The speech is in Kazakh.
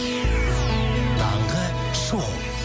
таңғы шоу